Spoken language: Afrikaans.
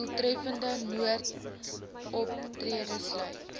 doeltreffende noodoptrede sluit